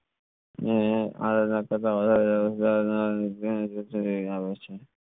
હમ